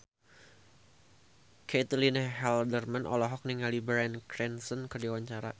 Caitlin Halderman olohok ningali Bryan Cranston keur diwawancara